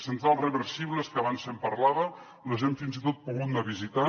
centrals reversibles que abans se’n parlava les hem fins i tot pogut anar a visitar